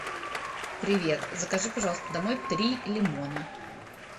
привет закажи пожалуйста домой три лимона